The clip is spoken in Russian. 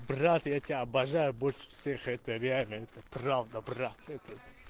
брат я тебя обожаю больше всех это реально это правда брат